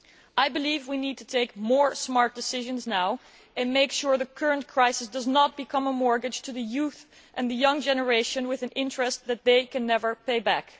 I believe we need to take more smart decisions now and make sure the current crisis does not become a mortgage to the youth and the young generation charging an interest that they can never pay back.